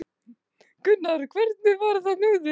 Þorgils: Hvernig var þetta þarna úti?